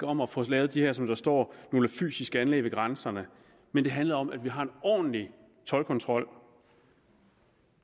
om at få lavet de her som der står fysiske anlæg ved grænserne men det handlede om at vi har en ordentlig toldkontrol